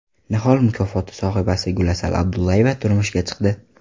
Nihol mukofoti sohibasi Gulasal Abdullayeva turmushga chiqdi .